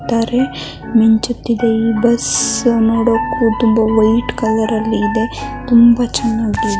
ನಿಂದ ಮಿಂಚುತ್ತಿದೆ ಈ ಬಸ್ ನೋಡೋದಕ್ಕೂ ವೈಟ್ ಕಲರ್ ಕಾಣಿಸ್ತಿದೆ ನೋಡೋದಕ್ಕೂ ತುಂಬಾ ಚೆನ್ನಾಗಿ ಕಾಣಿಸ್ತಿದೆ .